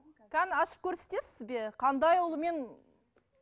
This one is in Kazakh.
қане ашып көрсетесіз бе қандай ұлумен